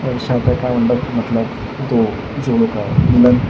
मतलब दो जोड़ो का मिलन--